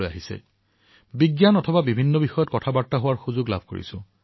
অৱশ্যে বিজ্ঞানৰ বহু বিষয়ৰ ওপৰত কথা কোৱাৰ সুযোগ পাইছো